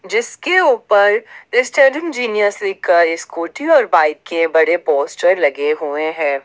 जिसके ऊपर stunning genius लिख कर स्कूटी और बाइक के बड़े पोस्टर लगे हुए हैं।